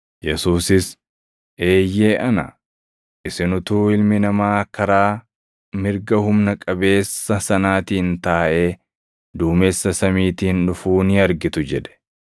Yesuusis, “Eeyyee ana; isin utuu Ilmi Namaa karaa mirga Humna Qabeessa sanaatiin taaʼee, duumessa samiitiin dhufuu ni argitu” jedhe.